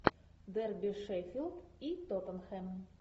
дерби шеффилд и тоттенхэм